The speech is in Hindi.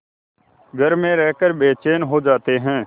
घर में रहकर बेचैन हो जाते हैं